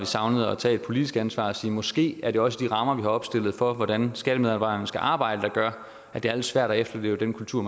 savnede at tage et politisk ansvar og sige måske er det også de rammer vi har opstillet for hvordan skattemedarbejderne skal arbejde der gør at det er lidt svært at efterleve den kultur